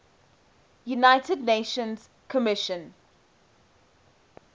united nations commission